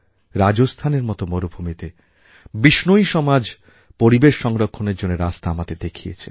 রাজস্থানের মতো মরুভূমিতে বিষ্ণোই সমাজ পরিবেশ সংরক্ষণের রাস্তা আমাদের দেখিয়েছে